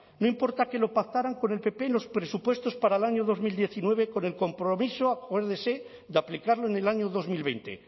no importa que lo pactaran con el pp en los presupuestos para el año dos mil diecinueve con el compromiso acuérdese de aplicarlo en el año dos mil veinte